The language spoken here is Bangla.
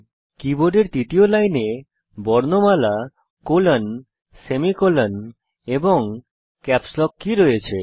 কীবোর্ডের তৃতীয় লাইনে বর্ণমালা colonসেমিকোলন এবং ক্যাপস লক কী রয়েছে